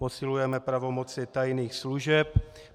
Posilujeme pravomoci tajných služeb.